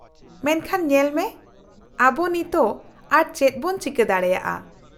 -ᱢᱮᱱᱠᱷᱟᱱ ᱧᱮᱞᱢᱮ, ᱟᱵᱚ ᱱᱤᱛ ᱟᱨ ᱪᱮᱫ ᱵᱚᱱ ᱪᱤᱠᱟᱹ ᱫᱟᱲᱮᱭᱟᱜᱼᱟ ?